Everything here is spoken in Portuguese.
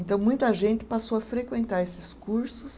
Então, muita gente passou a frequentar esses cursos.